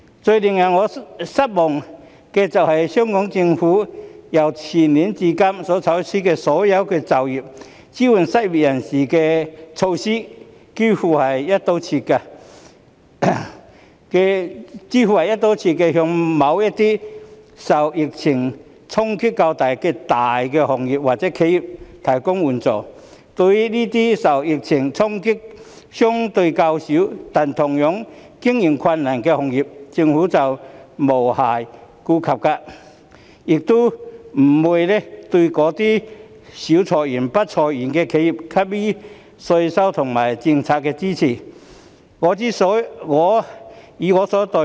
最令我失望的是，香港政府由前年至今採取的所有"保就業"、支援失業人士的措施，幾乎都是"一刀切"地向某些受疫情衝擊較大的大行業或企業提供援助，對於那些受疫情衝擊相對較小，但同樣經營困難的行業，政府卻無暇顧及，亦不會對那些少裁員、不裁員的企業給予稅務及政策支持。